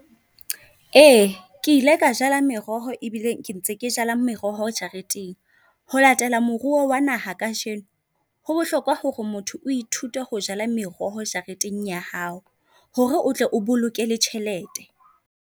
Ee, ke ile ka jala meroho e bile ke ntse ke jala meroho jareteng. Ho latela moruo wa naha kajeno ho bohlokwa hore motho o ithute ho jala meroho jareteng ya hao. Hore otle o bolokele le tjhelete.